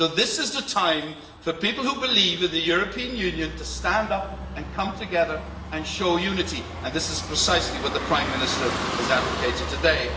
So this is the time for people who believe in the European Union to stand up and come together and show unity, and this is precisely what the Prime Minister has advocated today.